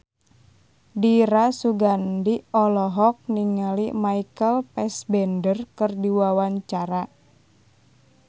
Dira Sugandi olohok ningali Michael Fassbender keur diwawancara